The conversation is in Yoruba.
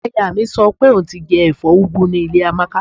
Aya mi sọ pé òun ti jẹ ẹ̀fọ́ úgú ní ilé Amáka